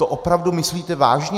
To opravdu myslíte vážně?